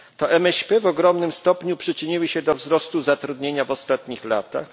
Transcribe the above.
To MŚP w ogromnym stopniu przyczyniły się do wzrostu zatrudnienia w ostatnich latach.